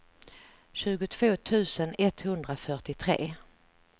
tjugotvå tusen etthundrafyrtiotre